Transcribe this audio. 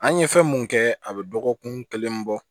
An ye fɛn mun kɛ a bɛ dɔgɔkun kelen bɔ